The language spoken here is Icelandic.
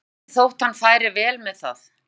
lyndur þótt hann færi vel með það.